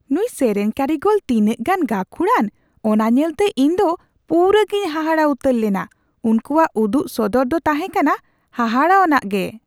ᱱᱩᱭ ᱥᱮᱨᱮᱧ ᱠᱟᱹᱨᱤᱜᱚᱞ ᱛᱤᱱᱟᱹᱜ ᱜᱟᱱ ᱜᱟᱹᱠᱷᱩᱲᱟᱱ ᱚᱱᱟ ᱧᱮᱞᱛᱮ ᱤᱧ ᱫᱚ ᱯᱩᱨᱟᱹᱜᱮᱧ ᱦᱟᱦᱟᱲᱟ ᱩᱛᱟᱹᱨ ᱞᱮᱱᱟ ᱾ ᱩᱝᱠᱩᱣᱟᱜ ᱩᱫᱩᱜ ᱥᱚᱫᱚᱨ ᱫᱚ ᱛᱟᱦᱮᱠᱟᱱᱟ ᱦᱟᱦᱟᱲᱟᱣᱟᱱᱟᱜ ᱜᱮ ᱾